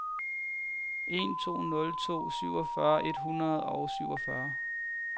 en to nul to syvogfyrre et hundrede og syvogfyrre